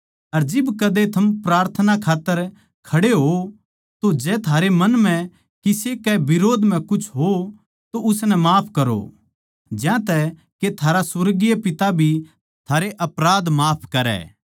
अर जिब कदे थम प्रार्थना खात्तर खड़े होओ तो जै थारै मन म्ह किसे कै बिरोध म्ह कुछ हो तो उसनै माफ करो ज्यांतै के थारा सुर्गीय पिता भी थारै अपराध माफ करै